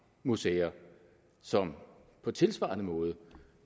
museer som på tilsvarende måde